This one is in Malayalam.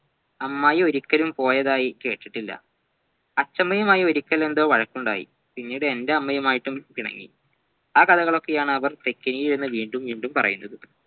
അമ്മായിയോരിക്കലും പോയതായി കേട്ടിട്ടില്ല അച്ഛമ്മയുമായി ഒരിക്കൽ എന്തോ വഴക്കുണ്ടായി പിന്നെ എന്റെ അമ്മയുമായിട്ടും പിണങ്ങി ആ കഥകളൊക്കെയാണവർ വീണ്ടും വീണ്ടും പറയുന്നത്